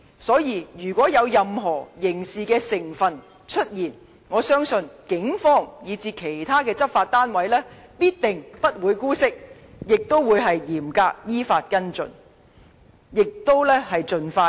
所以，如有任何刑事成分出現，我相信警方及其他執法單位必定不會姑息，亦會嚴格依法跟進，希望盡快破案。